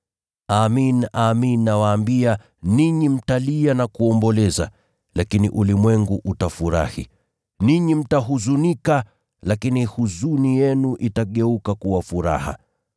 Amin, amin nawaambia, ninyi mtalia na kuomboleza, lakini ulimwengu utafurahi. Ninyi mtahuzunika, lakini huzuni yenu itageuka kuwa furaha.